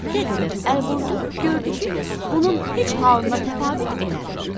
Nə qədər əl vurdu, gördü ki, bunun heç halına təfavüt eləmir.